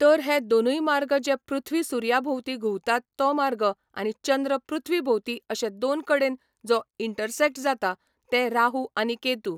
तर हे दोनूय मार्ग जे पृथ्वी सुर्या भोंवती घुंवतात तो मार्ग आनी चंद्र पृथ्वी भोंवती अशे दोन कडेन जो इंटरसॅक्ट जाता ते राहू आनी केतू.